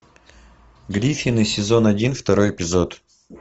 гриффины сезон один второй эпизод